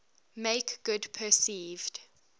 make good perceived